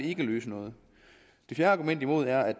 ikke løse noget et fjerde argument imod er at